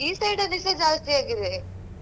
ಈ side ಅಲ್ಲಿ ಸ ಜಾಸ್ತಿ ಆಗಿದೆ.